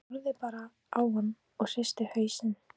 Hún horfði bara á hann og hristi hausinn.